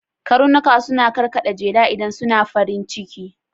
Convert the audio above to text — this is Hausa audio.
Karnuka suna karkaɗa jela idan suna farin ciki